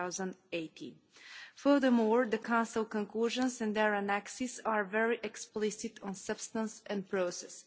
2018. Furthermore, the Council conclusions and their annexes are very explicit on substance and process.